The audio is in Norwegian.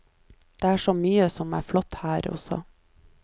Det er så mye som er flott her også.